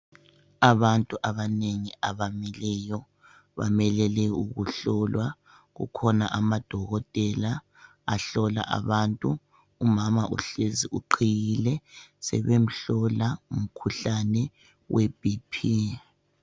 Abantu abanengi abamileyo, bamelele, ukuhlolwa. Kukhona amadokotela, ahlola abantu. Umama uhlezi, uqhiyile. Sebemhlola, umkhuhlane weBP.